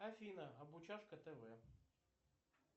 афина обучашка тв